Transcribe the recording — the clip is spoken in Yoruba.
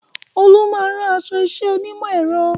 Olú máa ń rán aṣọ iṣẹ́ onímọ̀ ẹ̀rọ